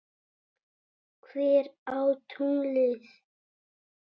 Hver á tunglið?